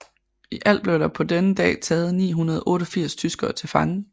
I alt blev der på denne dag taget 988 tyskere til fange